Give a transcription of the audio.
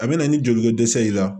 A bɛ na ni joliko dɛsɛ ye i la